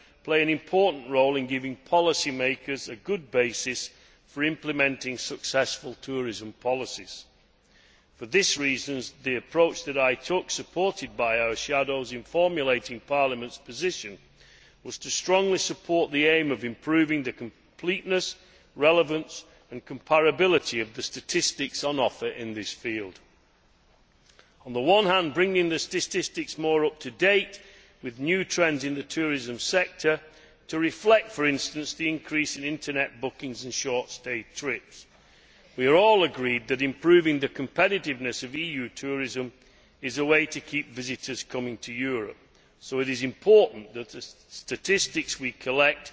play an important role in giving policy makers a good basis for implementing successful tourism policies. For these reasons, the approach that I took, supported by our shadows, in formulating Parliament's position, was to strongly support the aim of improving the completeness, relevance and comparability of the statistics on offer in this field, bringing the statistics more up to date with new trends in the tourism sector to reflect, for instance, the increase in Internet bookings and in short stay trips. We are all agreed that improving the competitiveness of EU tourism is a way to keep visitors coming to Europe, so it is important that the statistics we collect